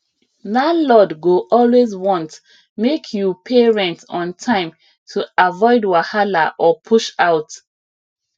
landlord go always want make you pay rent on time to avoid wahala or push out